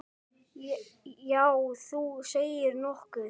Já, þú segir nokkuð.